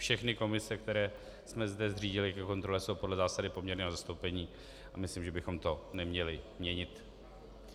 Všechny komise, které jsme zde zřídili ke kontrole, jsou podle zásady poměrného zastoupení a myslím, že bychom to neměli měnit.